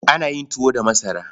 Ana yin tuwo da masara.